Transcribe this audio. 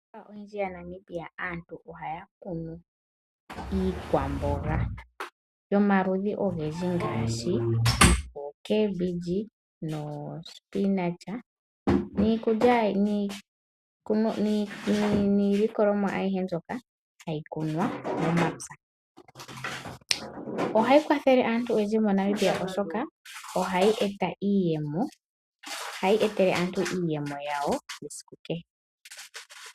Miikunino oyindji yaNamibia aantu ohaya kunu iikwamboga yomaludhi ogendji ngaashi oomboga dhomaludhi agahe, niilikolomwa ayihe mbyoka hayi kunwa momapya. Ohayi kwathele aantu oyendji yomoNamibia, oshoka ohayi etele aantu iiyemo yawo yesiku kehe.